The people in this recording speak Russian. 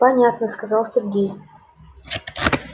понятно сказал сергей